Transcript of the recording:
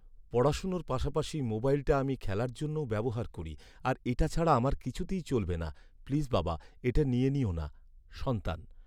পড়াশোনার পাশাপাশি মোবাইলটা আমি খেলার জন্যও ব্যবহার করি আর এটা ছাড়া আমার কিছুতেই চলবে না। প্লিজ বাবা, এটা নিয়ে নিও না। সন্তান